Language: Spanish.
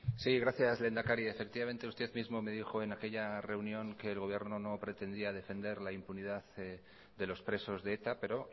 sí gracias lehendakari efectivamente usted mismo me dijo en aquella reunión que el gobierno no pretendía defender la impunidad de los presos de eta pero